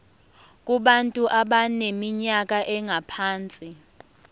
kubantu abaneminyaka engaphansi